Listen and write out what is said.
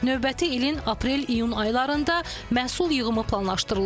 Növbəti ilin aprel-iyun aylarında məhsul yığımı planlaşdırılır.